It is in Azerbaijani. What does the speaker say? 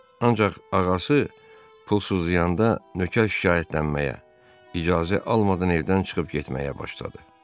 Ancaq ağası pulsuzlayanda nökər şikayətlənməyə, icazə almadan evdən çıxıb getməyə başladı.